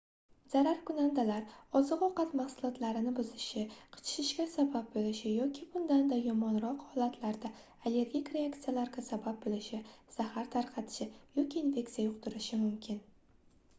zararkunandalar oziq-ovqat mahsulotlarini buzishi qichishishga sabab boʻlishi yoki bundan-da yomonroq holatlarda allergik reaksiyalarga sabab boʻlishi zahar tarqatishi yoki infeksiya yuqtirishi mumkin